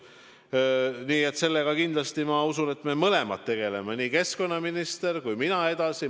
Nii et ma usun, et sellega kindlasti me mõlemad, nii keskkonnaminister kui ka mina, tegeleme edasi.